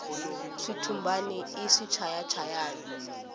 switumbani i swichaya chayani